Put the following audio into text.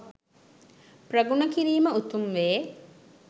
ප්‍රගුණ කිරීම උතුම් වේ.